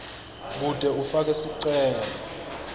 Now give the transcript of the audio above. kute ufake sicelo